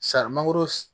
mangoro